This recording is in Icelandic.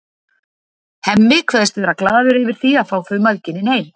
Hemmi kveðst vera glaður yfir því að fá þau mæðginin heim.